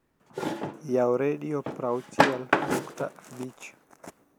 yaw redo proauchiel nukta abich